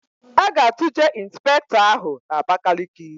A ga-atụje Ịnspektọ ahụ n'Abakaliki.